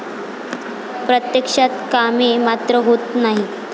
प्रत्यक्षात कामे मात्र होत नाही.